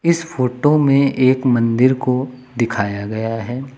इस फोटो में एक मंदिर को दिखाया गया है।